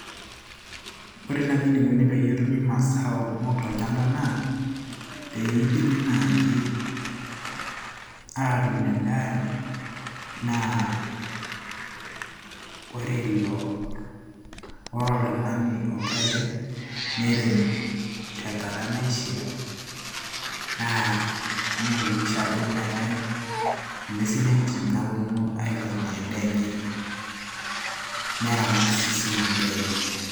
ore tii naaji enikoni peyie etumi masao kumok tolchamba naa peyie idimi naaji atuun endaa naa ore ilo, ore oltung'ani ogira airem nerem tenkata naishiaa naa niyakikisha ajo meetay ing'uesin entim naaponu aifamia endaa enye neramat siininye endaa enye.